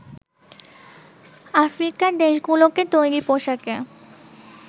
আফ্রিকার দেশগুলোকে তৈরি পোশাকে